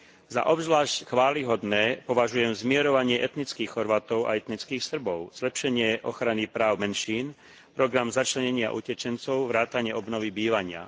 Za obzvlášť chvályhodné považujem zmierovanie etnických Chorvátov a etnických Srbov, zlepšenie ochrany práv menšín, program začlenenia utečencov vrátane obnovy bývania.